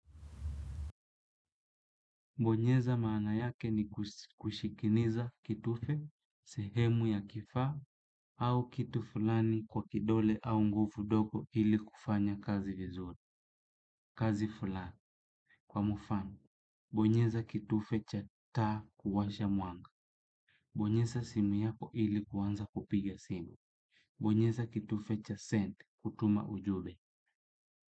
Bonyeza maana yake ni kushikiniza kitufe, sehemu ya kifaa au kitu fulani kwa kidole au nguvu ndogo ili kufanya kazi vizuri. Kazi fulani. Kwa mfano, bonyeza kitufe cha taa kuwasha mwanga. Bonyeza simu yako ili kuanza kupiga simu. Bonyeza kitufe cha send kutuma ujumbe.